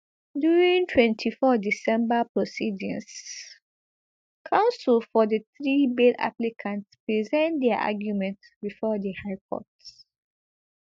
during twenty-four december proceedings counsel for di three bail applicants present dia arguments bifor di high court